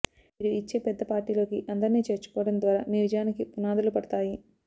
మీరు ఇచ్చే పెద్ద పార్టీలోకి అందరినీ చేర్చుకోవడం ద్వారా మీ విజయానికి పునాదులు పడతాయి